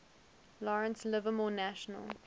lawrence livermore national